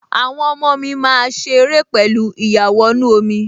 Àwọn ọmọ mi máa ṣe ère pẹ̀lú ìyàwọnú-omi